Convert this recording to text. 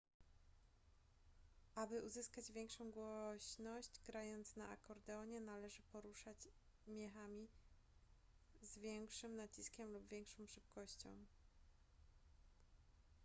aby uzyskać większą głośność grając na akordeonie należy poruszać miechami z większym naciskiem lub większą szybkością